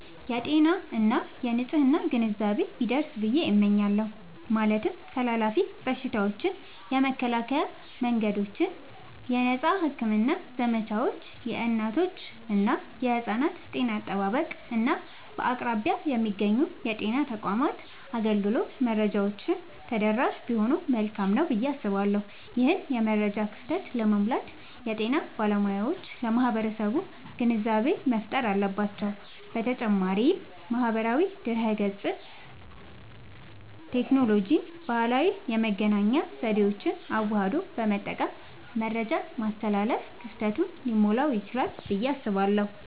የጤና እና የንፅህና ግንዛቤ ቢደርስ ብየ እመኛለሁ። ማለትም ተላላፊ በሽታዎችን የመከላከያ መንገዶች፣ የነፃ ሕክምና ዘመቻዎች፣ የእናቶችና የሕፃናት ጤና አጠባበቅ፣ እና በአቅራቢያ የሚገኙ የጤና ተቋማት አገልግሎት መረጃዎች ተደራሽ ቢሆኑ መልካም ነዉ ብየ አስባለሁ። ይህንን የመረጃ ክፍተት ለመሙላት የጤና ባለሙያዎች ለማህበረሰቡ ግንዛቤ መፍጠር አለባቸዉ። በተጨማሪም ማህበራዊ ድህረገጽን፣ ቴክኖሎጂንና ባህላዊ የመገናኛ ዘዴዎችን አዋህዶ በመጠቀም መረጃን ማስተላለፍ ክፍተቱን ሊሞላዉ ይችላል ብየ አስባለሁ።